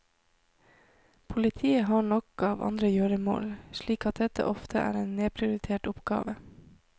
Politiet har nok av andre gjøremål, slik at dette ofte er en nedprioritert oppgave.